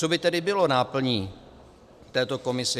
Co by tedy bylo náplní této komise?